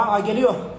Şu an A gəlir.